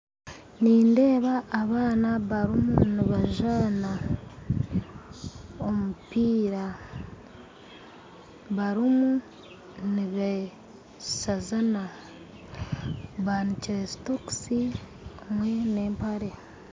Nindeeba abaana barimu nibazaana omupiira barimu nibasazana bajwaire sokusi nempare